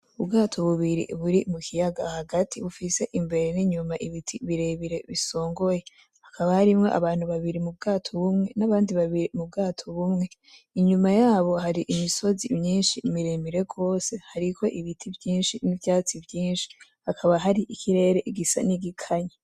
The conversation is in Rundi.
Ubwato bubiri buri mukiyaga hagati bufise imbere n'inyuma ibiti birebire bisongoye, hakaba harimwo abantu babiri m'ubwato bumwe n'abandi babiri m'ubwato bumwe, inyuma yabo hari imisozi myinshi miremire gose hariko ibiti vyinshi n'ivyatsi vyinshi, hakaba hari ikirere gisa n'igikaya.